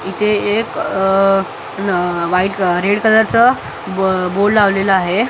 इथे एक अ न व्हाईट रेड कलरचं बो लावलेला आहे .